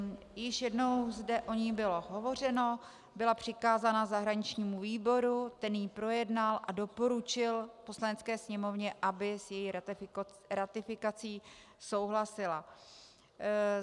Již jednou zde o ní bylo hovořeno, byla přikázána zahraničnímu výboru, ten ji projednal a doporučil Poslanecké sněmovně, aby s její ratifikací souhlasila.